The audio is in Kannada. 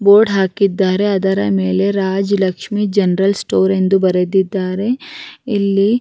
ಬೋರ್ಡ್ ಹಾಕಿದ್ದಾರೆ ಅದರ ಮಳೆ ರಾಜಲಕ್ಷ್ಮಿ ಜೆನೆರಲ್ ಸ್ಟೋರ್ ಎಂದು ಬರೆದಿದ್ದರೆ ಇಲ್ಲಿ --